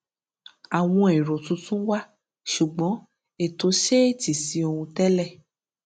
àwọn èrò tuntun wà ṣùgbọn ètò ṣetí sí ohun télè